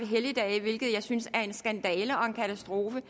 helligdage hvilket jeg synes er en skandale og en katastrofe